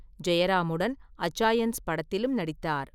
ஜெயராமுடன் அச்சாயன்ஸ் படத்திலும் நடித்தார்.